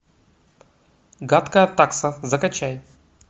гадкая такса закачай